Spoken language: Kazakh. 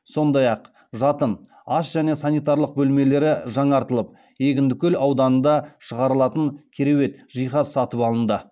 сондай ақ жатын ас және сантиралық бөлмелері жаңартылып